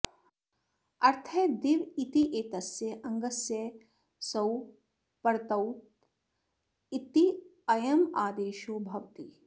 अर्थः दिव इत्येतस्य अङ्गस्य सौ परत औत् इत्ययमादेशो भवति